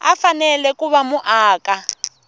u fanele ku va muaka